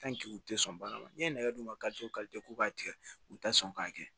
u tɛ sɔn baara la n'i ye nɛgɛ d'u ma k'u b'a tigɛ u tɛ sɔn k'a kɛ